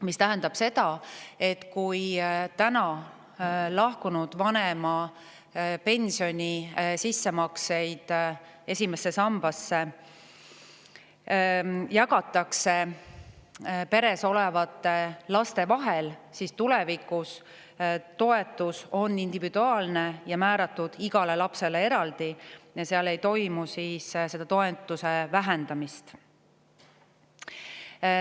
See tähendab seda, et praegu jagatakse vanema tehtud sissemaksed esimesse pensionisambasse peres olevate laste vahel, aga tulevikus on toetus individuaalne, see määratakse igale lapsele eraldi ja toetust ei vähendata.